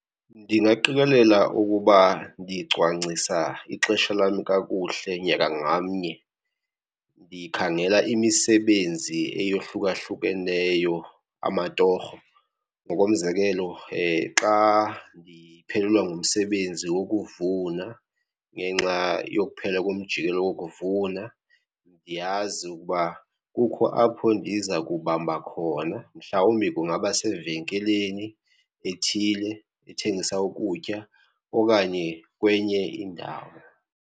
Ndingaqikelela ukuba ndicwangcisa ixesha lam kakuhle nyaka ngamnye. Ndikhangela imisebenzi eyohlukahlukeneyo, amatorho. Ngokomzekelo, xa ndiphelelwa ngumsebenzi wokuvuna ngenxa yokuphela komjikelo wokuvuna ndiyazi ukuba kukho apho ndiza kubamba khona, mhlawumbi kungaba sevenkileni ethile ethengisa ukutya okanye kwenye indawo.